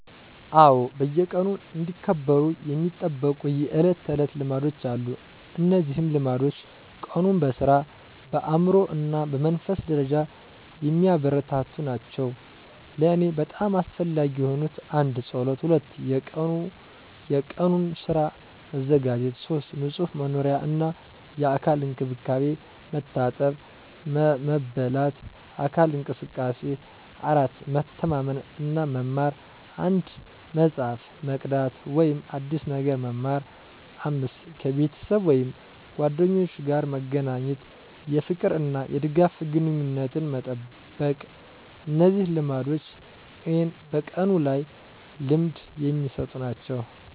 አዎ፣ በየቀኑ እንዲከበሩ የሚጠበቁ የዕለት ተዕለት ልማዶች አሉ። እነዚህ ልማዶች ቀኑን በሥራ፣ በአእምሮ እና በመንፈሳዊ ደረጃ የሚያበረታቱ ናቸው። ለእኔ በጣም አስፈላጊ የሆኑት: 1. ጸሎት 2. የቀኑን ሥራ መዘጋጀት 3. ንጹህ መኖሪያ እና የአካል እንክብካቤ፣ መታጠብ፣ መበላት፣ አካል እንቅስቃሴ። 4. መተማመን እና መማር፣ አንድ መጽሐፍ መቅዳት ወይም አዲስ ነገር መማር። 5. ከቤተሰብ ወይም ጓደኞች ጋር መገናኘት፣ የፍቅር እና የድጋፍ ግንኙነትን መጠበቅ። እነዚህ ልማዶች እኔን በቀኑ ላይ ልምድ የሚሰጡ ናቸው።